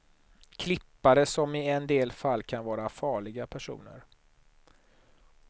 Klippare som i en del fall kan vara farliga personer.